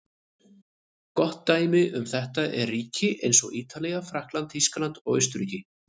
Gott dæmi um þetta eru ríki eins og Ítalía, Frakkland, Þýskaland og Austurríki.